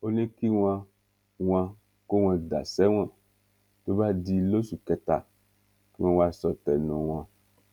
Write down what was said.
ó ní kí wọn wọn kó wọn dà sẹwọn tó bá di lóṣù kẹta kí wọn wáá sọ tẹnu wọn